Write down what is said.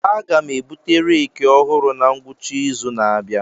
Aga m ebute reeki ọhụrụ na ngwụcha izu na-abịa.